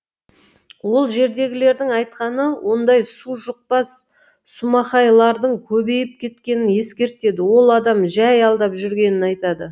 ол жердегілердің айтқаны ондай су жұқпас сумақайлардың көбейіп кеткенін ескертеді ол адам жай алдап жүргенін айтады